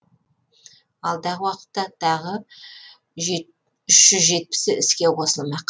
алдағы уақытта тағы үш жүз жетпісі іске қосылмақ